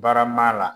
Barama la